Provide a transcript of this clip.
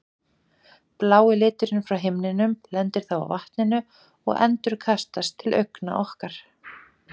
Blái liturinn frá himninum lendir þá á vatninu og endurkastast til augna okkar.